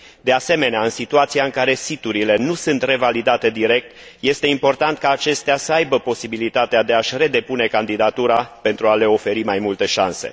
De asemenea, în situația în care siturile nu sunt revalidate direct, este important ca acestea să aibă posibilitatea de a și depune din nou candidatura, pentru a le oferi mai multe șanse.